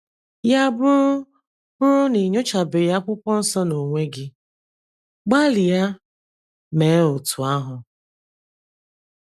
Ya bụrụ bụrụ na i nyochabeghị Akwụkwọ Nsọ n’onwe gị, gbalịa mee otú ahụ.